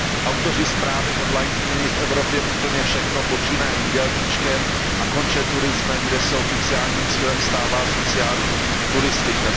Autoři zprávy hodlají změnit v Evropě úplně všechno, počínaje jídelníčkem a konče turismem, kde se oficiálním cílem stává sociální turistika.